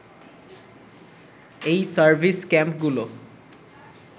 এই সার্ভিস ক্যাম্পগুলো